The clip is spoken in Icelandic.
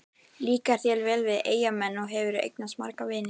Líkar þér vel við Eyjamenn og hefurðu eignast marga vini?